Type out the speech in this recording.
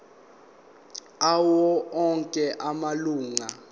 awo onke amalunga